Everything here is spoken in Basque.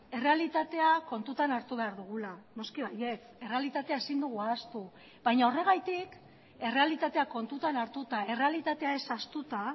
errealitatea kontutan hartu behar dugula noski baietz errealitatea ezin dugu ahaztu baina horregatik errealitatea kontutan hartuta errealitatea ez ahaztuta